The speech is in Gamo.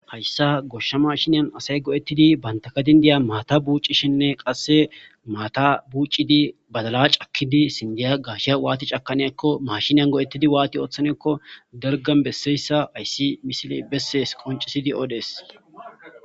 Hayssa goshsha mashinyan asay go'ettidi bantakadindiya maata buuccishinne qasse maata buucidi badala cakkidi sindiya gaasha waati cakaniekko mashiniyan go7ettidi waati ooththanekko dargan besseyssa ayssi misile bessees qoncisidi oodees.